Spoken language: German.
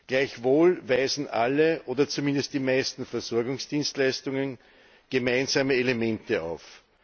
Gleichwohl weisen alle oder zumindest die meisten Versorgungsdienstleistungen gemeinsame Elemente auf.